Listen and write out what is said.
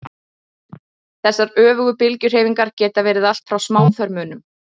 þessar öfugu bylgjuhreyfingar geta verið allt frá smáþörmunum